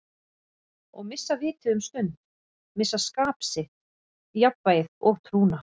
Og missa vitið um stund, missa skap sitt, jafnvægið og trúna.